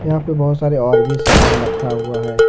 यहां पे बहोत सारे और भी सामान रखा हुआ है।